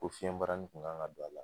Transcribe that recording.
Ko fiɲɛbarani kun kan ka don a la